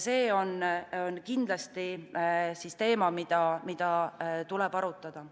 See on kindlasti teema, mida tuleb arutada.